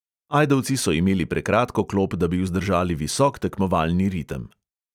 Ajdovci so imeli prekratko klop, da bi vzdržali visok tekmovalni ritem.